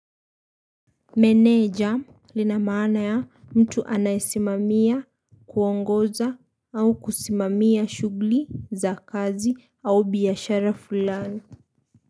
Meneja lina maana ya mtu anayesimamia, kuongoza au kusimamia shughuli za kazi au biashara fulani.